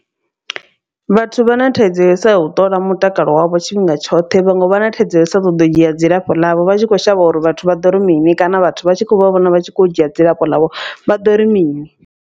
Vhathu vha na thaidzo yo u sa u ṱola mutakalo wavho tshifhinga tshoṱhe vha nga vha na thaidzo yo sa ṱoḓi u dzhia dzilafho ḽavho. Vha tshi kho shavha uri vhathu vha ḓo ri mini kana vhathu vha tshi khou vha vhona vha tshi kho dzhia dzilafho ḽavho vha ḓo ri mini.